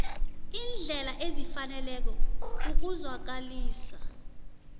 iindlela ezifaneleko ukuzwakalisa